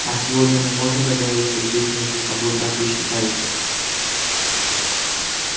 а сегодня мы можем договориться здесь между собой как вы считаете